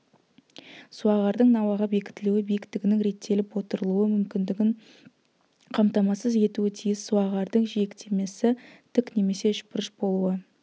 суағардың науаға бекітілуі биіктігінің реттеліп отырылу мүмкіндігін қамтамасыз етуі тиіс суағардың жиектемесі тік немесе үшбұрыш болуы